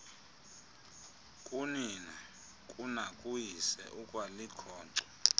kunina kunakuyise ukwalikhonkco